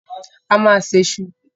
A máa se iṣu.